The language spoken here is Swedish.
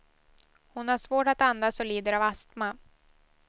Hon har svårt att andas och lider av astma.